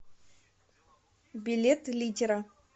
билет литера